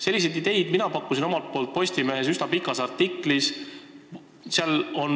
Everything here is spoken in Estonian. Selliseid ideid pakkusin mina Postimehe üsna pikas artiklis.